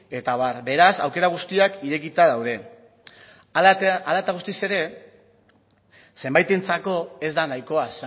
eta abar beraz aukera guztiak irekita daude hala eta guztiz ere zenbaitentzako ez da nahikoa